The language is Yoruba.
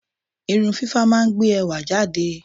Irun fífá máa ń gbé ẹwà jáde.